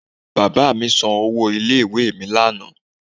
Bàbá mi san owó ilé ìwé mi lánàá